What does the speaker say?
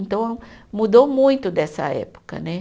Então, mudou muito dessa época, né?